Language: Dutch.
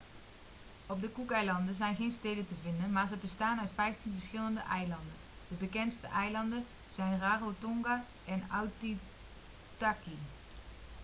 op de cookeilanden zijn geen steden te vinden maar ze bestaan uit vijftien verschillende eilanden de bekendste eilanden zijn rarotonga en aitutaki